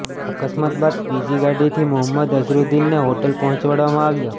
અકસ્માત બાદ બીજી ગાડીથી મોહમ્મદ અઝરુદ્દીનને હોટલ પહોંચાડવામાં આવ્યા